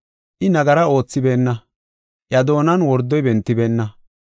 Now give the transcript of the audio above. I nagara oothibeenna; iya doonan wordoy bentibeenna.